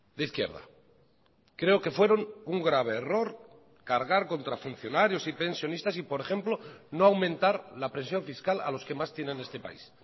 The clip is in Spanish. de izquierda creo que fueron un grave error cargar contra funcionarios y pensionistas y por ejemplo no aumentar la presión fiscal a los que más tiene en este país